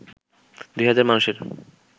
২ হাজার মানুষের